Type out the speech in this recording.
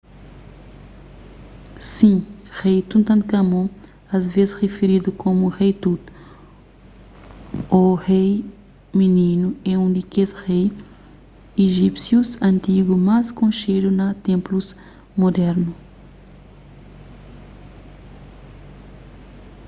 sin rei tutankámon asvês rifiridu komu rei tut ô rei mininu é un di kes rei ijípsius antigu más konxedu na ténplus mudernu